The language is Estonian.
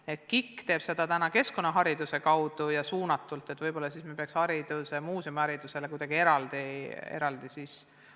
KIK rakendab seda praegu keskkonnahariduse kaudu ja suunatult, võib-olla me peaksime tegema muuseumiharidusele kuidagi eraldi midagi samasugust.